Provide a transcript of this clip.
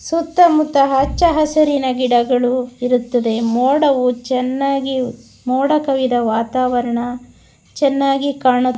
ಸುತ್ತ ಮುತ್ತ ಹಚ್ಚಹಸುರಿನ ಗಿಡಗಳು ಇರುತ್ತದೆ ಮೋಡವು ಚೆನ್ನಾಗಿ ಮೋಡ ಕವಿದ ವಾತಾವರಣ ಚೆನ್ನಾಗಿ ಕಾಣು--